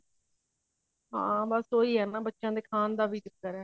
ਹਾਂ ਬਸ ਉਹੀ ਹੈ ਬੱਚਿਆ ਦੇ ਖਾਨ ਦਾ ਵੀ ਹੈ